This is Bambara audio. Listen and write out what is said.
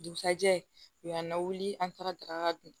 Dugusajɛ u y'an lawuli an taara daga dun